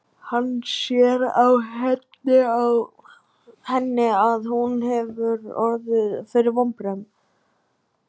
Hann sér á henni að hún hefur orðið fyrir vonbrigðum.